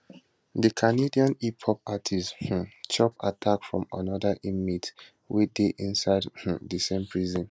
di canadian hiphop artist um chop attack from anoda inmate wey dey inside um di same prison